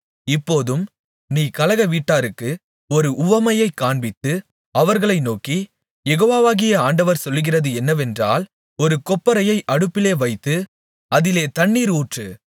இப்போதும் நீ கலகவீட்டாருக்கு ஒரு உவமையைக் காண்பித்து அவர்களை நோக்கி யெகோவாகிய ஆண்டவர் சொல்லுகிறது என்னவென்றால் ஒரு கொப்பரையை அடுப்பிலே வைத்து அதிலே தண்ணீரை ஊற்று